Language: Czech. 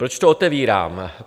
Proč to otevírám?